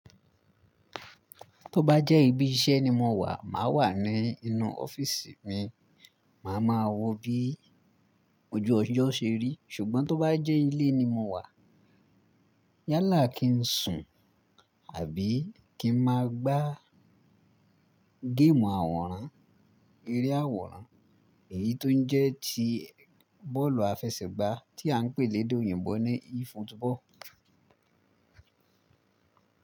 Tó bá jẹ́ ibi iṣẹ́ ni mo wà, màá wà ní inú ọ́fíísì mi, màá ma wọ bí ojú ọjọ́ ṣe rí. Ṣùgbọ́n tó bá jẹ́ ilé ni mo wà, yálà kí n sùn àbí kí n máa gbá géèmù àwòrán, eré àwòrán. Eyí tó ń jẹ́ ti bọ́ọ̀lù àfẹsẹ̀gbá tí à ń pè ní èdè òyìnbó ní e-football.